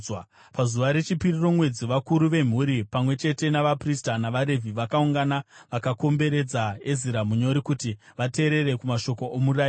Pazuva rechipiri romwedzi, vakuru vemhuri, pamwe chete navaprista navaRevhi, vakaungana vakakomberedza Ezira munyori kuti vateerere kumashoko oMurayiro.